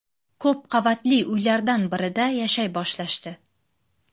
Ko‘p qavatli uylardan birida yashay boshlashdi.